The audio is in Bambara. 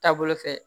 Taabolo fɛ